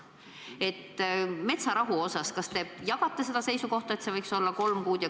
Kas te metsarahu osas jagate seisukohta, et see võiks olla kolm kuud?